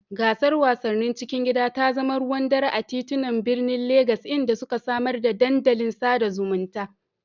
Gasar wasannin cikin gida ta zama ruwan dare a titunan birnin Legas, inda suka samar da dandalin sada zumunta.